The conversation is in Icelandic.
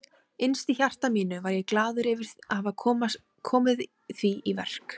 Innst í hjarta mínu var ég glaður yfir að hafa komið því í verk.